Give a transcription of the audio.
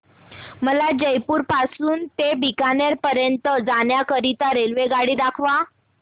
मला जयपुर पासून ते बीकानेर पर्यंत जाण्या करीता रेल्वेगाडी दाखवा